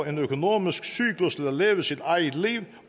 en økonomisk cyklus der lever sit eget liv